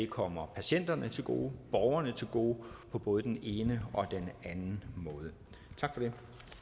kommer patienterne til gode borgerne til gode på både den ene og den anden måde tak